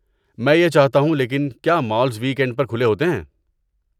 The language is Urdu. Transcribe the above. میں یہ چاہتا ہوں لیکن کیا مالز ویک اینڈ پر کھلے ہوتے ہیں؟